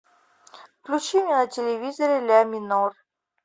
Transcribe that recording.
включи мне на телевизоре ля минор